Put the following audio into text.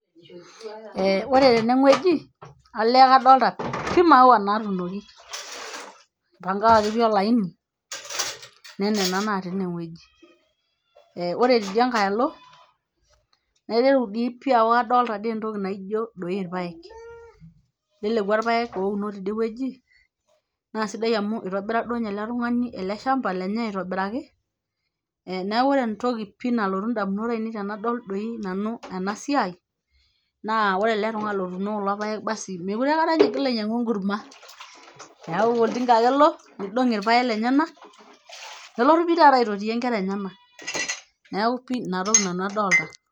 eh ore teneng'ueji nalee kadolta pii imaua natuunoki ipangakaki pii olaini nenena natii ineng'ueji ore tidia nkae alo naiteru dii pii aaku kadolta dii entoki naijo doi irpayek lelekua irpayek ouno tidie wueji naa sidai amu itobira duo ninye ele tung'ani ele shamba lenye aitobiraki e neeku ore entoki pii nalotu indamunot ainei tenadol doi nanu ena siai naa wore ele tung'ani lotuno kulo payek basi mekure aekata ninye igil ainyiang'u enkurma keeku oltinka ake elo nidong irpayek lenyenak nelotu pii taata aitotiyie inkera enyenak neeku pii inatoki nanu adolta.